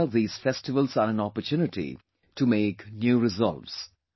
I am sure these festivals are an opportunity to make new resolves